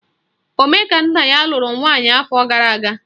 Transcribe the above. Omekannaya lụrụ nwaanyị afọ gara aga